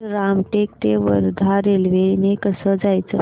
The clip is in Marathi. रामटेक ते वर्धा रेल्वे ने कसं जायचं